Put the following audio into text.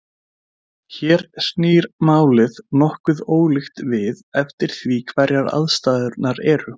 Hér snýr málið nokkuð ólíkt við eftir því hverjar aðstæðurnar eru.